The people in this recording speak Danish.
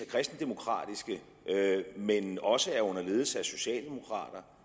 kristendemokratiske men også er under ledelse af socialdemokrater